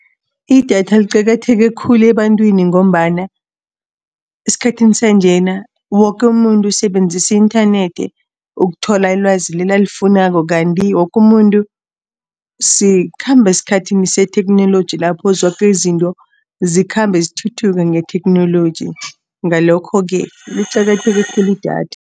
Idatha liqakatheke khulu ebantwini ngombana esikhathini sanjena woke umuntu usebenzise i-inthanethi ukuthola ilwazi leli alifunako. Kanti woke umuntu, sikhamba esikhathini setheknoloji, lapho zoke izinto zikhambe zithuthuka ngetheknoloji. Ngalokho-ke liqakatheke khulu idatha.